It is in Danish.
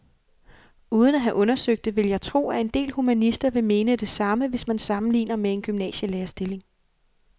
Uden at have undersøgt det vil jeg tro, at en del humanister vil mene det samme, hvis man sammenligner med en gymnasielærerstilling.